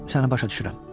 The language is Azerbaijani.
Səni başa düşürəm.